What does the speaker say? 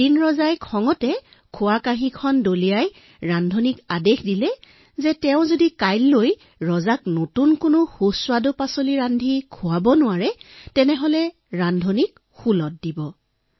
এদিন ৰজাই খঙতে আহাৰৰ থালি দলিয়াই দি ৰান্ধনিক কলে যে কাইলৈ যদি ৰান্ধনিয়ে তেওঁক সুস্বাদু খাদ্য ৰান্ধি খুৱাব নোৱাৰে তেন্তে তেওঁক শূলত দিব